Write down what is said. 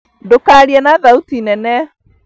Ndũkarie na thauti nene